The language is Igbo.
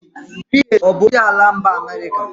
Bill Gates ọ bụ onyeisi ala mba America?